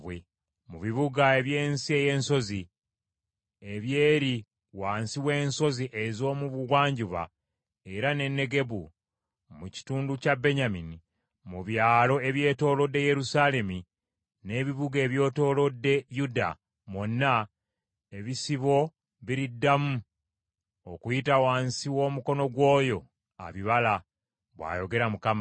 Mu bibuga eby’ensi ey’obusozi, eby’eri wansi w’ensozi ez’omu bugwanjuba era ne Negebu, mu kitundu kya Benyamini, mu byalo ebyetoolodde Yerusaalemi n’ebibuga ebyetoolodde Yuda mwonna ebisibo biriddamu okuyita wansi w’omukono gw’oyo abibala,’ bw’ayogera Mukama .